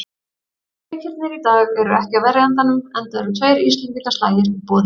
Leikirnir í dag eru ekki af verri endanum, enda eru tveir íslendingaslagir í boði.